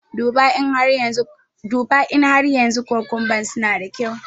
Duba in har yanzu kukumban suna da kyau.